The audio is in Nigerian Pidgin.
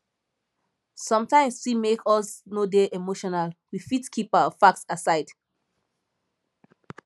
sometimes fit make us no dey emotional we fit keep facts aside